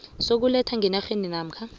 sokuletha ngenarheni namkha